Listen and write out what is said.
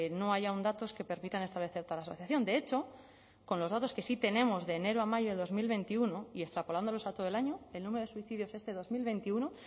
no hay aun datos que permitan establecer tal asociación de hecho con los datos que sí tenemos de enero a mayo de dos mil veintiuno y extrapolándolos a todo el año el número de suicidios este dos mil veintiuno